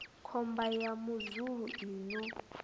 khomba ya muzulu i no